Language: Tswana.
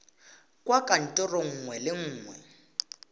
kwa kantorong nngwe le nngwe